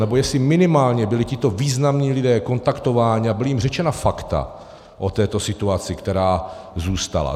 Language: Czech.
Nebo jestli minimálně byli tito významní lidé kontaktováni a byla jim řečena fakta o této situaci, která zůstala.